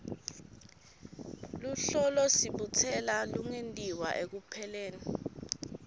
luhlolosibutselo lungentiwa ekupheleni